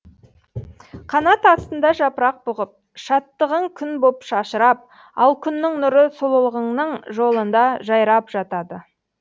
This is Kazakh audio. канат астында жапырақ бұғып шаттығың күн боп шашырап ал күннің нұры сұлулығыңның жолында жайрап жатады